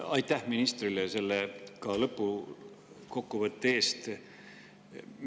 Aitäh ministrile selle kokkuvõtte eest!